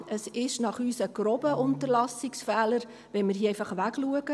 Es ist nach uns ein grober Unterlassungsfehler, wenn wir hier einfach wegschauen.